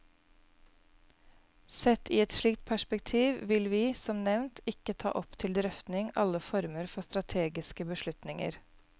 Sett i et slikt perspektiv vil vi, som nevnt, ikke ta opp til drøfting alle former for strategiske beslutninger.